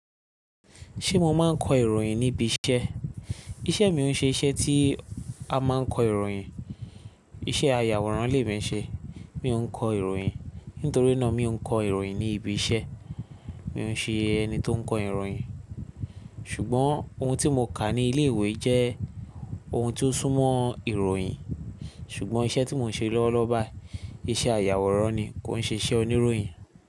Ṣé mo máa ń kọ ìròyìn níbi iṣẹ́? Iṣẹ́ mi ò ń ṣe iṣẹ́ tí a máa ń kọ ìròyìn. Iṣẹ́ ayàwòrán lè mí ṣe, mi ò ń kọ ìròyìn. Nítorí náà mi ò ń kọ ìròyìn ní ibi iṣẹ́. Mi ò ń ṣe ẹni tó ń kọ ìròyìn. Ṣùgbọ́n ohun tí mo kà ní ilé ìwé jẹ́ ohun tí ó sún mọ́ ìròyìn. Ṣùgbọ́n iṣẹ́ tí mò ń ṣe lọ́wọ́lọ́wọ́ báyìí, iṣẹ́ ayàwòrán ni, kò ń ṣe iṣẹ́ oníròyìn.